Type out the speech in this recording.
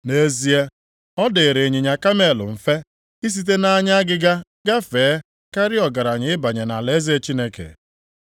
Nʼezie, ọ dịrị ịnyịnya kamel mfe isite nʼanya agịga gafee karịa ọgaranya ịbanye nʼalaeze Chineke.”